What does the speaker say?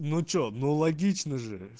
ну что ну логично же